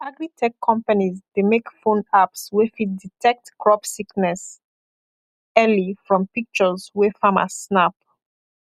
agritech companies dey make phone apps wey fit detect crop sickness early from pictures wey farmer snap